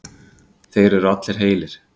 Þeir eru allir heilir